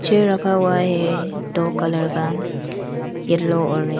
Chair रखा हुआ है दो कलर का येलो और रेड ।